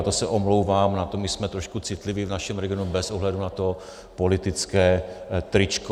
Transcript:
A to se omlouvám, my jsme trošku citliví v našem regionu bez ohledu na to politické tričko.